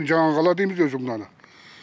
жаңа қала дейміз өзі мынаны